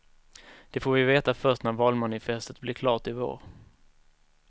Det får vi veta först när valmanifestet blir klart i vår.